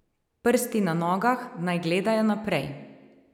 Prsti na nogah naj gledajo naprej.